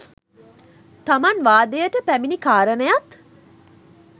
තමන් වාදයට පැමිණි කාරණයත්,